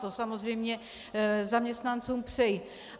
To samozřejmě zaměstnancům přeji.